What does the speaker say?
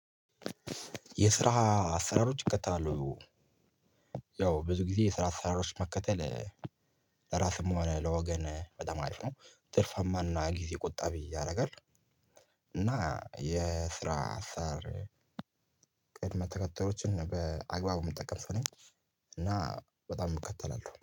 የስራ አሰራሮች እከተላለሁ። ያው ብዙ ጊዜ የስራ አሰራሮች መከተል ለራስም ሆነ ለወገን በጣም አሪፍ ነው ትርፋማና ነው ጊዜ ቁጣቢ ያደርጋል። እና የስራ አሰራር ቅድመ ተከታዮችን በአግባቡ የምጠቀም ሰው ነኝ። እና በጣም እከተላለሁ